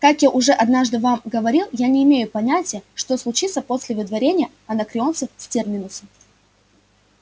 как я уже однажды вам говорил я не имею понятия что случится после выдворения анакреонцев с терминуса